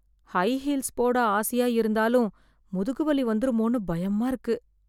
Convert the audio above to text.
high heels போட ஆசையா இருந்தாலும் முதுகு வலி வந்துருமோன்னு பயமா இருக்கு